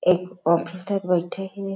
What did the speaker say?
एक ऑफिसर बइठे हें।